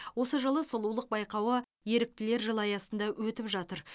осы жылы сұлулық байқауы еріктілер жылы аясында өтіп жатыр